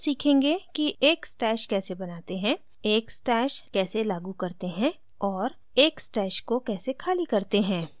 हम सीखेंगे कि